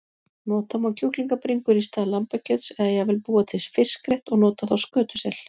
Nota má kjúklingabringur í stað lambakjöts eða jafnvel búa til fiskrétt og nota þá skötusel.